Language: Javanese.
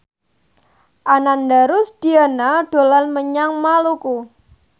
Ananda Rusdiana dolan menyang Maluku